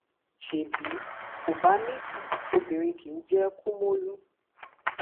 ṣé bí kò bá nídìí obìnrin kì í jẹ kumolu